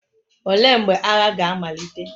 Olee mgbe agha ga-amalite?